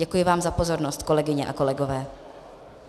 Děkuji vám za pozornost, kolegyně a kolegové.